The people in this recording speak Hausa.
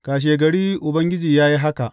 Kashegari Ubangiji ya yi haka.